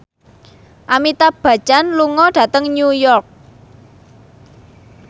Amitabh Bachchan lunga dhateng New York